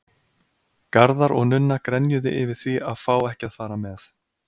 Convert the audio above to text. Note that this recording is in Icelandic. Garðar og Nunna grenjuðu yfir því að fá ekki að fara með.